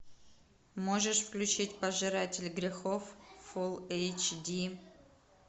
можешь включить пожиратель грехов фул эйч ди